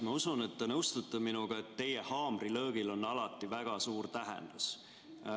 Ma usun, et te nõustute minuga, et teie haamrilöögil on alati väga suur tähendus.